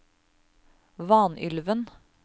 Vanylven